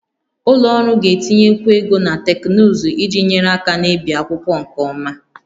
Ụlọ ọrụ ga-etinyekwu ego na teknụzụ iji nyere aka na-ebi akwụkwọ nke ọma